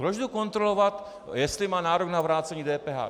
Proč jdu kontrolovat, jestli má nárok na vrácení DPH?